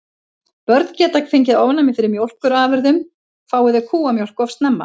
Börn geta fengið ofnæmi fyrir mjólkurafurðum fái þau kúamjólk of snemma.